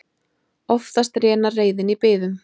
Oftast rénar reiðin í biðum.